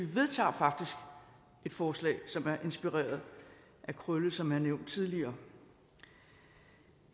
vedtager et forslag som er inspireret af krølle som er nævnt tidligere